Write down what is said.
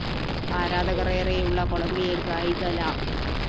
ആരാധകര്‍ ഏറെയുള്ള കൊളംബിയന്‍ ഗായിക ല